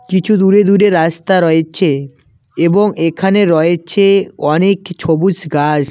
কিছু দূরে দূরে রাস্তা রয়েছে এবং এখানে রয়েছে অনেক ছবুজ গাছ।